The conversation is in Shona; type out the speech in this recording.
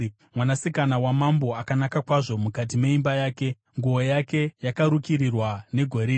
Mwanasikana wamambo akanaka kwazvo mukati meimba yake; nguo yake yakarukirirwa negoridhe.